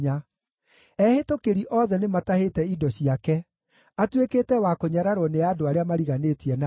Ehĩtũkĩri othe nĩmatahĩte indo ciake; atuĩkĩte wa kũnyararwo nĩ andũ arĩa mariganĩtie nake.